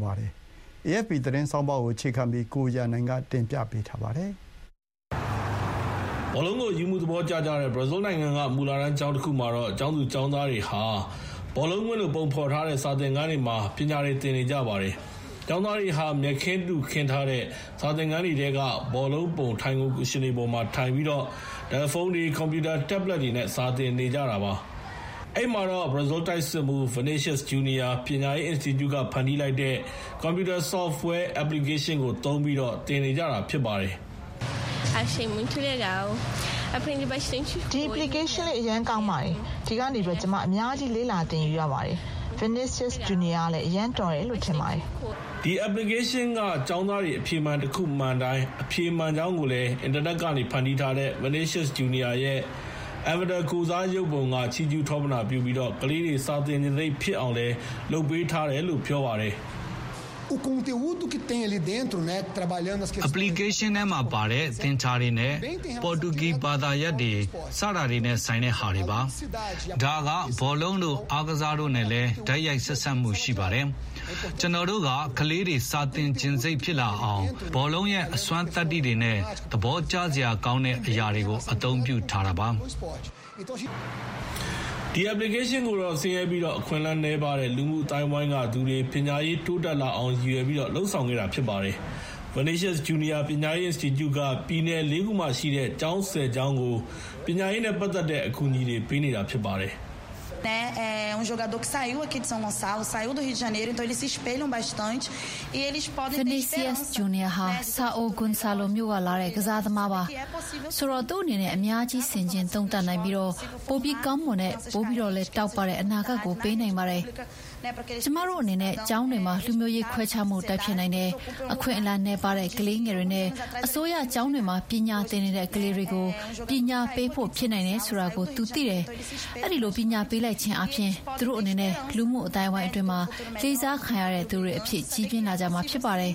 ပါတယ်။ AFP သတင်းဆောင်းပါးကို အခြေခံပြီး ကိုရန်နိုင်က တင်ပြပေးထားပါတယ်။ ဘောလုံးကို အရူးအမူးသဘောကျတဲ့ ဘရာဇီးနိုင်ငံက မူလတန်းကျောင်းတခုမှာ ကျောင်းသူကျောင်းသားတွေဟာ ဘောလုံးကွင်းလို ပုံဖော်ထားတဲ့ စာသင်ခန်းတွေမှာ ပညာသင်နေကြပါတယ်။ ကျောင်းသားတွေဟာ မြက်ခင်းတုခင်းထားတဲ့ စာသင်ခန်းထဲက ဘောလုံးပုံ ထိုင်ခုံ ကူရှင်တွေပေါ်မှာထိုင်ပြီး တယ်လီဖုန်းတွေ၊ ကွန်ပျူတာ Tablets တွေနဲ့ စာသင်နေကြတာဖြစ်ပါတယ်။ အဲဒီမှာတော့ ဘရာဇီးတိုက်စစ်မှူး Vinicius Jr. ပညာရေး အင်စတီကျုက ဖန်တီးလိုက်တဲ့ ကွန်ပျူတာ ဆော့ဖ်ဝဲ Applications ကို သုံးပြီးတော့ သင်နေကြတာဖြစ်ပါတယ်။ Thallya Francisco Vieira က ၁၀ နှစ်အရွယ် ကျောင်းသူတဦး ဖြစ်ပါတယ်။ "ဒီ Application အရမ်းကောင်းပါတယ်။ ဒီကနေ ကျမ အများကြီး လေ့လာသင်ယူရပါတယ်။ Vinicius Jr. ကလည်း အရမ်းတော်တယ်လို့ ထင်ပါတယ်။" ဒီ Application က ကျောင်းသားတွေ အဖြေတခုမှန်တိုင်း အဖြေမှန်ကြောင်းကို အင်တာနက်ကနေ ဖန်တီးထားတဲ့ Vinicius Jr. ရဲ Avatar ကိုယ်စားရုပ်ပုံက ချီးကျူးထောပနာပြုပြီး ကလေးတွေစာသင်ချင်စိတ်ဖြစ်အောင် လုပ်ထားတယ်လို့ ပြောပါတယ်။ Victor Oliveira - Vinicius Jr. ကတော့ ပညာရေး အင်စတီကျုက အမှုဆောင်မန်နေဂျာတယောက်ပါ။ "App ထဲမှာပါတဲ့ဟာတွေက သင်္ချာနဲ့ ပေါ်တူဂီ ဘာသာရပ်တွေ... စတာတွေနဲ့ ဆိုင်တဲ့ဟာတွေပါ။ ဒါက ဘောလုံးတို့အားကစားတို့နဲ့လည်း တိုက်ရိုက် ဆက်စပ်မှုရှိပါတယ်။ ကျနော်တို့က ကလေးတွေ စာသင်ချင်စိတ်ဖြစ်လာအောင် ဘောလုံးရဲ့ အစွမ်းသတ္တိတွေနဲ့ သဘောကျစရာကောင်းတဲ့အရာတွေကိုသုံးပေးထားပါတယ်။" ဒီ Application ကိုတော့ ဆင်းရဲပြီး အခွင့်အလမ်းနည်းပါးတဲ့ လူမှုအသိုင်းအဝိုင်းကသူတွေ ပညာရေးတိုးတက်လာအောင် ရည်ရွယ်လုပ်ဆောင်ခဲ့တာဖြစ်ပါတယ်။ Vinicius Jr. ပညာရေးအင်စတီကျုက ပြည်နယ် ၄ ခုမှာရှိတဲ့ ကျောင်း ၁၀ ကျောင်းကို ပညာရေးနဲ့ ပတ်သက်တဲ့ အကူအညီတွေ ပေးနေတာဖြစ်ပါတယ်။ ဆရာမတဦးဖြစ်တဲ့ Mariana Carlos Alves ကလည်း အခုလို ပြောပါတယ်။ "Vinicius Jr ဟာ ဆာအိုဂွန်ဆာလိုမြို့ကလာတဲ့ ကစားသမားပါ။ ဆိုတော့ သူ့အနေနဲ့ အများကြီးဆင်ခြင်သုံးသပ်နိုင်ပြီးတော့ ပိုပြီးကောင်းမွန်တဲ့၊ ပိုပြီးတော့တောက်ပတဲ့ အနာဂတ်တွေကို ပေးနိုင်ပါတယ်။ ကျမတို့အနေနဲ့ ကျောင်းတွေမှာ လူမျိုးရေးခွဲခြားမှုကို တိုက်ဖျက်နိုင်တယ်၊ အခွင့်အလမ်းနည်းပါးတဲ့ကလေးငယ်တွေနဲ့ အစိုးရကျောင်းတွေမှာ ပညာသင်နေတဲ့ကလေးတွေကို ပညာပေးဖို့ ဖြစ်နိုင်တယ်ဆိုတာကို သူသိတယ်။ အဲဒီလိုပညာပေး လိုက်ခြင်းအားဖြင့် သူတို့အနေနဲ့ လူမှုအသိုင်းအဝိုင်းအတွင်းမှာ လေးစားခံရတဲ့သူတွေအဖြစ် ကြီးပြင်းလာကြမှာဖြစ်တယ်